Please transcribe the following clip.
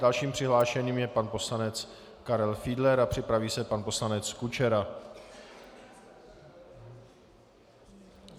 Dalším přihlášeným je pan poslanec Karel Fiedler a připraví se pan poslanec Kučera.